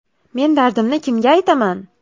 Men dardimni kimga aytaman?